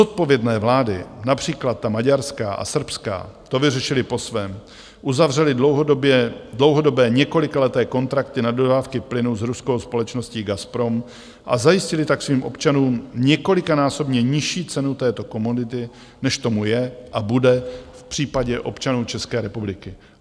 Zodpovědné vlády, například ta maďarská a srbská, to vyřešily po svém - uzavřely dlouhodobé, několikaleté kontrakty na dodávky plynu s ruskou společností Gazprom, a zajistily tak svým občanům několikanásobně nižší cenu této komodity, než tomu je a bude v případě občanů České republiky.